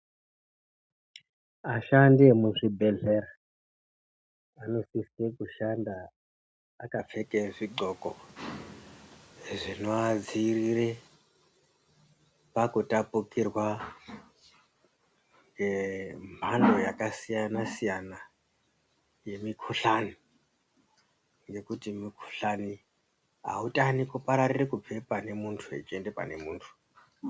Aishandisa emuzvibhedhlera anosisa kushanda akapfeke zvindxoko zvinoadzirire pakutapukirwa ngemhando yakasiyana siyana yemikhuhlani ngekuti mukhuhlani autani kupararire kubva pane muntu echienda pane muntu.